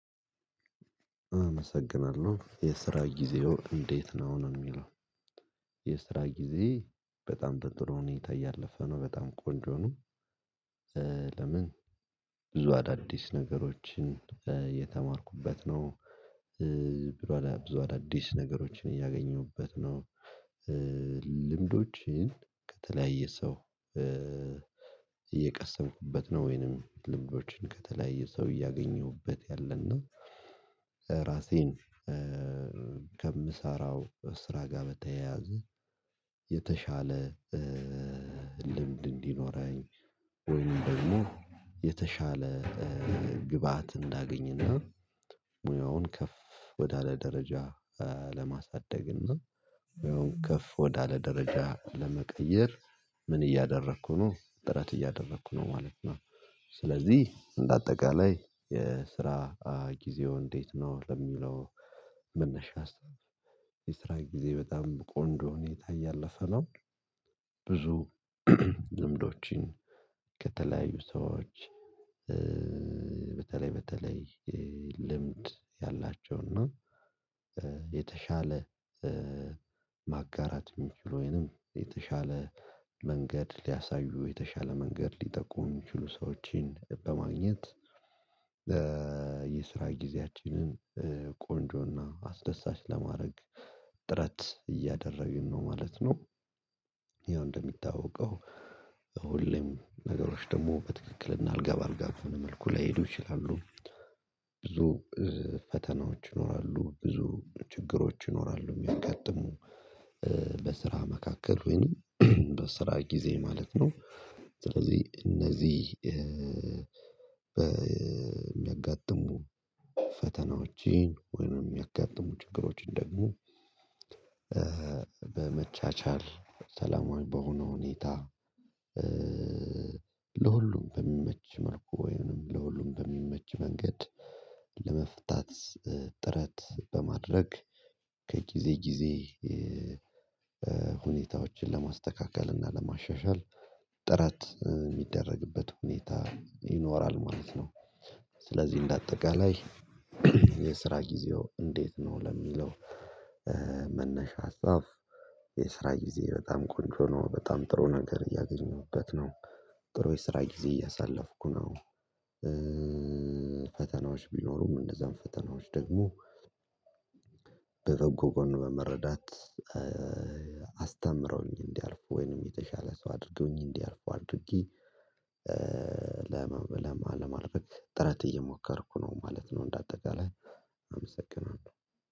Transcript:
አመሰግናለሁ የስራ ጊዜዎ እንዴት ነው አሁን የሚለው? የስራ ጊዜዬ በጣም ጥሩ ሁኔታ እያለፈ ነው በጣም ቆንጆ ነው። ለምን ብዙ አዳዲስ ነገሮችን የተማርኩበት ነው። ብዙ አዳዲስ ነገሮችን እያገኘሁበት ነው። ልምዶችን ከተለያየ ሰው እየቀሰምኩበት ነው ወይንም ልምዶችን ከተለያዩ ሰው እያገኘሁበት ያለና ራሴን ከምሰራው ስራ ጋር በተያያዘ የተሻለ ልምድ እንዲኖረኝ ወይም ደግሞ የተሻለ ግብአት እንዳገኘና ሙያውን ከፍ ወዳለ ደረጃ ለማሳደግና እና የሆነ ከፍ ወዳለ ደረጃ ለመቀየር ምን እያደረኩ ነው ጥረት እያደረኩ ነው ማለት ነው። ስለዚህ በአጠቃላይ የስራ ጊዜዋ እንዴት ነው ለሚለው መነሻ ስራ የስራ ጊዜ በጣም ቆንጆ ሁኔታ እያለፈ ነው። ብዙ ልምዶችን ከተለያዩ ሰዎች በተለይ ልምድ ያላቸው እና የተሻለ ማጋራት የሚችሉ ወይንም የተሻለ መንገድ ሊያሳዩ የተሻለ መንገድ ሊጠቁሙ የሚችሉ ሰዎችን በማግኘት የስራ ጊዜያችንን ቆንጆና አስደሳች ለማድረግ ጥረት እያደረግን ነው ማለት ነው። ያው እንደሚታወቀው ሁሌም ነገሮች ደግሞ በትክክልና አልጋ በአልጋ በሆነ መልኩ ላይሄዱ ይችላሉ። ብዙ ፈተናዎች ይኖራሉ ብዙ ችግሮች ይኖራሉ የሚያጋጥሙ በስራ መካከል ወይንም በስራ ጊዜ ማለት ነው። ስለዚህ እነዚህ በሚያጋጥሙ ፈተናዎችን ወይንም የሚያጋጥሙ ችግሮችን ደግሞ በመቻቻል ሰላማዊ በሆነ ሁኔታ ለሁሉም በሚመች መልኩ ወይም ለሁሉም በሚመች መንገድ ለመፍታት ጥረት በማድረግ ከጊዜ ጊዜ ሁኔታዎችን ለማስተካከል እና ለማሻሻል ጥረት የሚደረግበት ሁኔታ ይኖራል ማለት ነው። ስለዚህ እንደ አጠቃላይ የስራ ጊዜዎ እንዴት ነው ለሚለው መነሻ ሀሳብ የስራ ጊዜዬ በጣም ቆንጆ ነው በጣም ጥሩ ነገር እያገኘሁበት ነው። ጥሩ የስራ ጊዜ እያሳለፍኩ ነው። ፈተናዎች ቢኖሩም እነዛን ፈተናዎች ደግሞ በበጎ ጎን በመረዳት አስተምረውኝ እንዲያልፉ ወይንም የተሻለ ሰው አድርገውኝ እንዲያልፉ አድርጌ ለማድረግ ጥረት እየሞከርኩ ነው ማለት ነው። እንደ አጠቃላይ